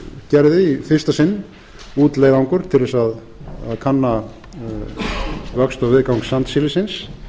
í fyrsta sinn út leiðangur til þess að kanna vöxt og viðgang sandsílisins